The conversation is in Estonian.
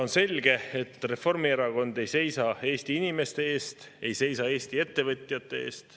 On selge, et Reformierakond ei seisa Eesti inimeste eest, ei seisa Eesti ettevõtjate eest.